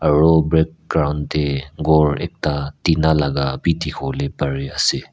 aro background te ghor ekta tina laga bi dikhibole parie ase.